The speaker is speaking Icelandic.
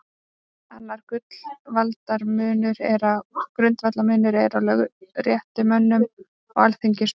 Annar grundvallarmunur er á lögréttumönnum og alþingismönnum.